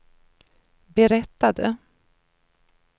berättade